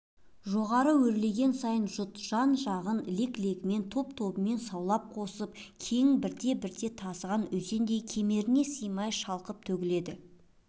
жоғары өрлеген сайын жұрт жан-жақтан лек-легімен топ-тобымен саулап қосылып кең бірте-бірте тасыған өзендей кемеріне сыймай шалқып төгілді